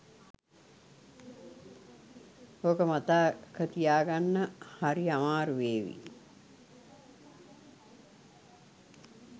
ඕක මතක තියාගන්න හරි අමාරු වේවි